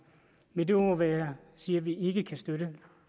med de ord vil jeg sige at vi ikke kan støtte